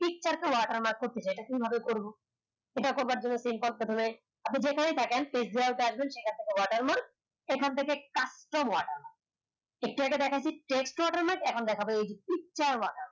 watermark করতে চাই এইভাবে করবো একটা করবার জন্য প্রথমে আপনি যেখানেই থাকেন watermark এখান থেকে watermark একটু আগে দেখাইছি watermark এখন দেখাব watermark